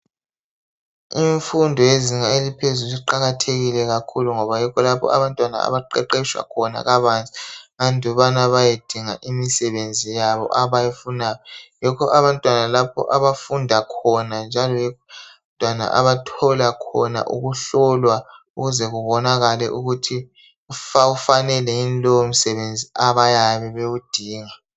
Imfundo yezinga eliphezulu iqakathekile kakhulu ngoba yikho lapho abantwana baqeqetshwa khona kabanzi andubana bayedinga imisebenzi yabo abayifunayo yikho abantwana lapho abafunda khona njalo abantwana abathola khona ukuhlolwa ukuze kubonakale ukuthi bawufanele yini lowo msebenzi abayabe bewudinga .